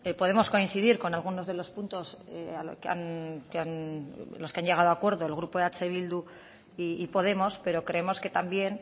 podemos coincidir con algunos de los puntos los que han llegado acuerdo el grupo eh bildu y podemos pero creemos que también